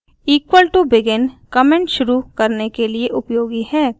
equal to begin comment शुरू करने के लिए उपयोगी है